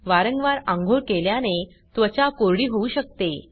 वारंवार आंघोळ केल्याने त्वचा कोरडी होऊ शकते